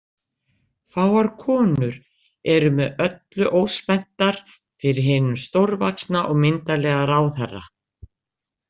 Fáar konur eru með öllu óspenntar fyrir hinum stórvaxna og myndarlega ráðherra.